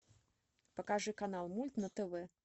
покажи канал мульт на тв